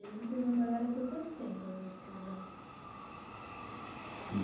E aí vocês namoraram por quanto tempo antes de casar?